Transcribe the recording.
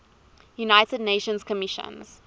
united nations commission